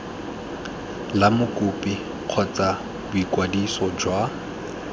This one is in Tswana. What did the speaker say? la mokopi kgotsa boikwadiso jwa